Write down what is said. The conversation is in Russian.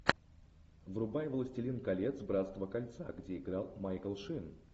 врубай властелин колец братство кольца где играл майкл шин